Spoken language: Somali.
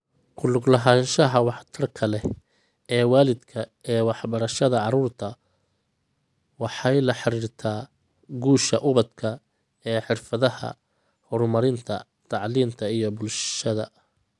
Ku lug lahaanshaha waxtarka leh ee waalidka ee waxbarashada carruurta waxay la xiriirtaa guusha ubadka ee xirfadaha horumarinta tacliinta iyo bulshada.